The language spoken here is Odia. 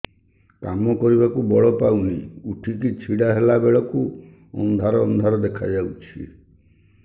କାମ କରିବାକୁ ବଳ ପାଉନି ଉଠିକି ଛିଡା ହେଲା ବେଳକୁ ଅନ୍ଧାର ଅନ୍ଧାର ଦେଖା ଯାଉଛି